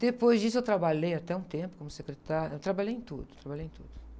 Depois disso eu trabalhei até um tempo como secretária, eu trabalhei em tudo, trabalhei em tudo.